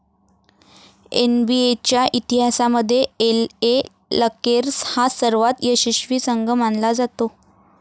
एनबीएच्या इतिहासामध्ये LA Lakers हा सर्वात यशस्वी संघ मानला जातो.